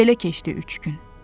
Belə keçdi üç gün.